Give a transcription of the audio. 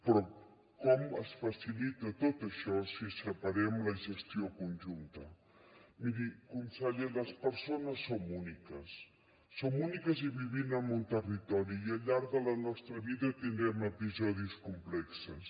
però com es facilita tot això si separem la gestió conjunta miri conseller les persones som úniques som úniques i vivim en un territori i al llarg de la nostra vida tindrem episodis complexos